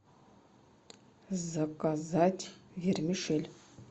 заказать вермишель